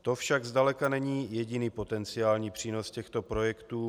To však zdaleka není jediný potenciální přínos těchto projektů.